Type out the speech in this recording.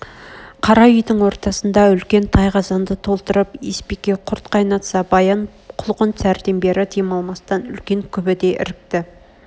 қара үйдің ортасында үлкен тай қазанды толтырып есбике құрт қайнатса баян құлқын сәрден бер демалмастан үлкен күбде іркті